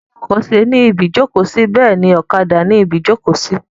Bí ọkọ ṣe ni ibi ìjókòó sí bẹ́ẹ̀ náà ni ọ̀kadà ni ibi ìjókòó sí.